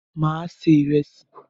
Mà á se ìrẹsì.